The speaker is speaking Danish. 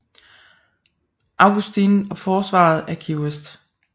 Augustine og forsvaret af Key West